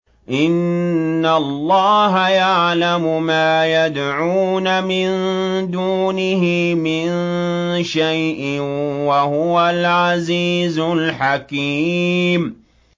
إِنَّ اللَّهَ يَعْلَمُ مَا يَدْعُونَ مِن دُونِهِ مِن شَيْءٍ ۚ وَهُوَ الْعَزِيزُ الْحَكِيمُ